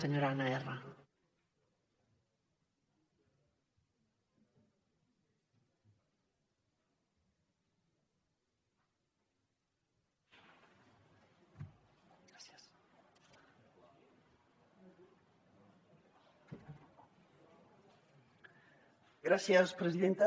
gràcies presidenta